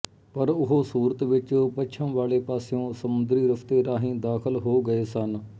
ਪਰ ਉਹ ਸੂਰਤ ਵਿੱਚ ਪੱਛਮ ਵਾਲੇ ਪਾਸਿਓਂ ਸਮੁੰਦਰੀ ਰਸਤੇ ਰਾਹੀਂ ਦਾਖ਼ਲ ਹੋ ਗਏ ਸਨ